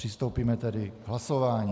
Přistoupíme tedy k hlasování.